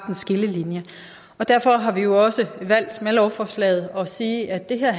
en skillelinje derfor har vi jo også valgt med lovforslaget at sige at det her